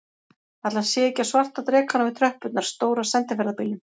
Ætli hann sé ekki á svarta drekanum við tröppurnar, stóra sendiferðabílnum.